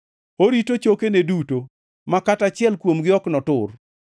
orito chokene duto, ma kata achiel kuomgi ok notur.